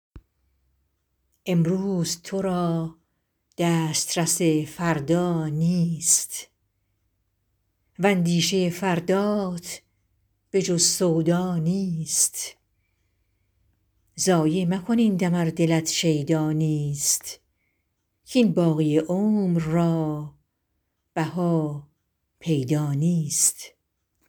امروز تو را دسترس فردا نیست واندیشه فردات به جز سودا نیست ضایع مکن این دم ار دلت شیدا نیست کاین باقی عمر را بها پیدا نیست